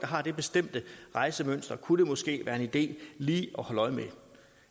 har et bestemt rejsemønster kunne det måske være en idé lige